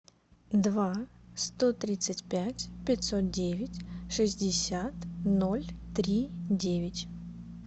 два сто тридцать пять пятьсот девять шестьдесят ноль три девять